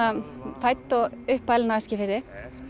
fædd og uppalin á Eskifirði